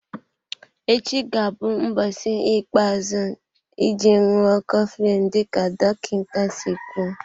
Echi ga-abụ ụbọchị ikpeazụ iji ṅụọ coflin dịka dọkịta si kwụọ.